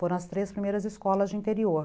Foram as três primeiras escolas de interior.